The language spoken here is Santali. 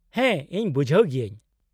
-ᱦᱮᱸ , ᱤᱧ ᱵᱩᱡᱷᱟᱹᱣ ᱜᱤᱭᱟᱹᱧ ᱾